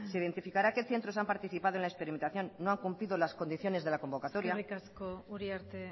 identificará qué centros han participado en la experimentación no han cumplido las condiciones de la convocatoria eskerrik asko uriarte